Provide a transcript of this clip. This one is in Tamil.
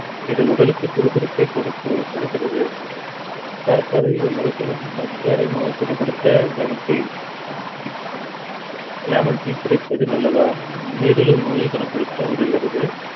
இது உடலுக்கு சுறுசுறுப்பை கொடுக்கு~ கொடுக்கிறது சர்க்கரை நோய் கொழுப்~ சர்க்கரை நோய் குணப்படுத்த lemon tea lemon tea குடிப்பது நல்லதா நீரிழிவு நோயை குணப்படுத்த உதவுகிறது